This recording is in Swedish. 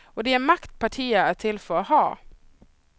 Och det är makt partier är till för att ha.